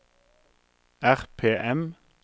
RPM